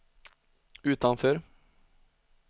utanför